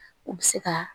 U bɛ se ka